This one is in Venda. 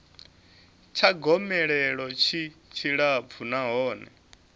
tsha gomelelo tshi tshilapfu nahone